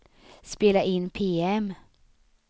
spela in PM